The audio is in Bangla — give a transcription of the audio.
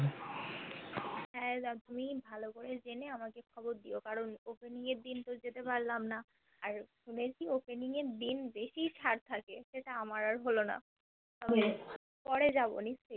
হা তুমি ভালো করে জেনে আমাকে খবর দিও কারণ Opening এর দিন তো যেতে পারলাম না আর শুনেছি Opening এর দিন বেশি ছাড় থাকে সেটা আমার আর হলোনা পরে যাবোনি